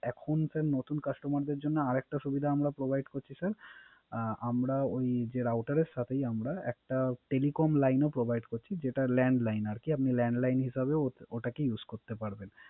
এখন স্যার নতুন Customer দের জন্য আর একটা সুবিধা আমরা Provide করছি স্যার আমরা ওই Router এর সাথে একটা টেলিকম লাইন ও Provide করছি যেটা ল্যান লাইন আর কি আপনি ল্যান লাইন হিসেবে ওটাকে Use করতে পারবেন।